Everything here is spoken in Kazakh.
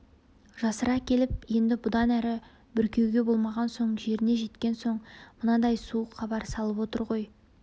жасыра келіп енді бұдан әрі бүркеуге болмаған соң жеріне жеткен соң мынадай суық хабар салып отыр ғой